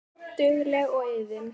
Dugleg og iðin.